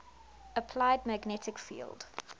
applied magnetic field